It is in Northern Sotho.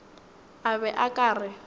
a be a ka re